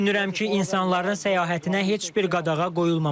Düşünürəm ki, insanların səyahətinə heç bir qadağa qoyulmamalıdır.